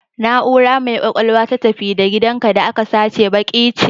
Na'ura mai kwakwalwa ta, ta "tafi da gidanka" da aka sace baƙe ce.